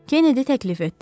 Kennedy təklif etdi.